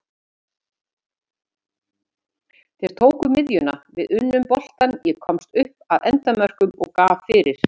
Þeir tóku miðjuna, við unnum boltann, ég komst upp að endamörkum og gaf fyrir.